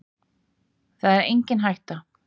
Það er engin hætta